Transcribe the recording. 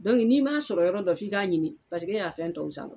Dɔnku n'i m'a sɔrɔ yɔrɔ dɔ f'i k'a ɲini paseke e y'a fɛn tɔw san